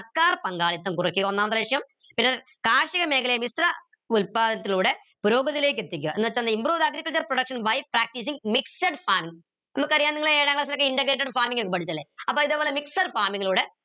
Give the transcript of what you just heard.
സർക്കാർ പങ്കാളിത്തം കുറയ്ക്ക ഒന്നാമത്തെ ലക്ഷ്യം പിന്നെ കാർഷിക മേഖലയിൽ ഉത്പാദനത്തിലൂടെ പുരോഗതിയിലേക്ക് എത്തിക്കാ എന്ന് വെച്ചന്ത improve the agricultural production by practicing mixed farming നമുക്കറിയാം നിങ്ങൾ ഏഴാം class ലൊക്കെ integrated farming ഒക്കെ പഠിച്ചതല്ലേ അപ്പൊ ഇതേപോലെ mixed farming ലൂടെ